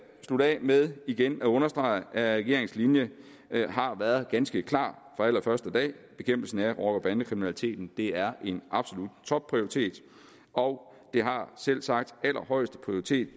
slutte af med igen at understrege at regeringens linje har været ganske klar fra allerførste dag bekæmpelsen af rocker bande kriminaliteten er en absolut topprioritet og det har selvsagt allerhøjeste prioritet